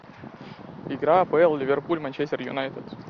игра апл ливерпуль манчестер юнайтед